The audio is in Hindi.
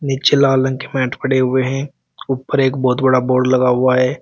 पीछे लाल रंग के मैट पड़े हुए हैं ऊपर एक बहुत बड़ा बोर्ड लगा हुआ है।